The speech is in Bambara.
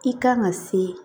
I kan ka se